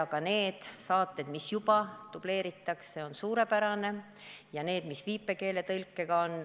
Ka see, et saateid juba dubleeritakse, on suurepärane, ja see, et on viipekeeletõlge.